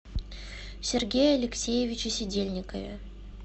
сергее алексеевиче сидельникове